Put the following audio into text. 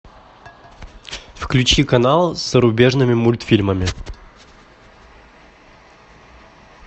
включи канал с зарубежными мультфильмами